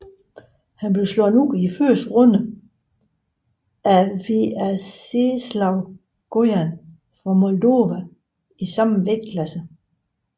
Her blev han slået ud i første runde af Veaceslav Gojan fra Moldova i samme vægtklasse